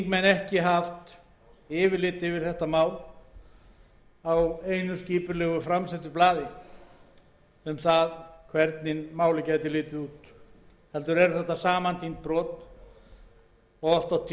þingmenn ekki haft yfirlit yfir þetta mál á einu skipulegu framlögðu blaði um það hvernig málið gæti litið út heldur eru þetta samantínd brot og oft og tíðum byggt